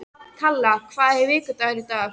Kalla, hvaða vikudagur er í dag?